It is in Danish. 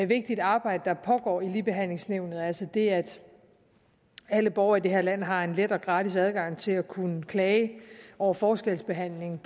vigtigt arbejde der pågår i ligebehandlingsnævnet altså det at alle borgere i det her land har en let og gratis adgang til at kunne klage over forskelsbehandling